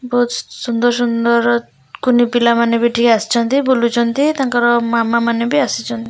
ବହୁତ୍ ସୁନ୍ଦର୍ ସୁନ୍ଦର୍ କୁନି ପିଲାମାନେ ଏଠିକି ଆସିଛନ୍ତି ବୁଲୁଛନ୍ତି ତାଙ୍କର ମାମା ମାନେ ବି ଆସିଛନ୍ତି।